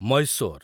Mysore